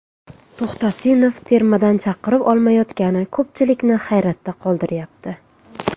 To‘xtasinov termadan chaqiruv olmayotgani ko‘pchilikni hayron qoldiryapti?